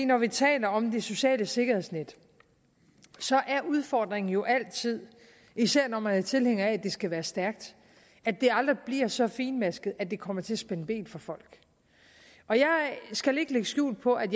når vi taler om det sociale sikkerhedsnet er udfordringen jo altid især når man er tilhænger af at det skal være stærkt at det aldrig bliver så finmasket at det kommer til at spænde ben for folk og jeg skal ikke lægge skjul på at